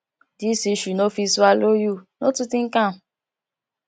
this issue no fit swallow you no too think am